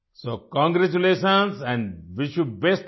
so congratulation and wish you best luck